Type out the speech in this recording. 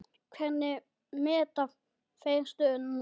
Hvernig meta þeir stöðuna núna?